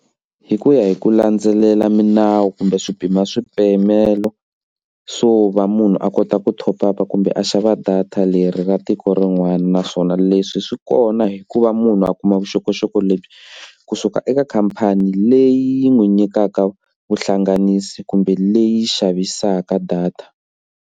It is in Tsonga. Hi ku ya hi ku landzelela milawu kumbe swi pima swipimelo swo va munhu a kota ku top up kumbe a xava data leri ra tiko rin'wana naswona leswi swi swi kona hikuva munhu a kuma vuxokoxoko lebyi kusuka eka khampani leyi n'wi nyikaka vuhlanganisi kumbe leyi yi xavisaka data.